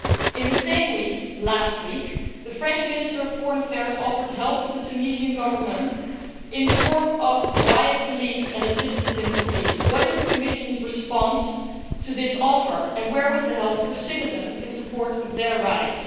In the same week last week the French Minister for Foreign Affairs offered help to the Tunisian Government in the form of riot police and assistance in policing. What is the Commission's reaction to that offer, and where was the help for citizens in support of their rights?